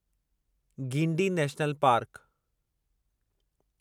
Guindy national park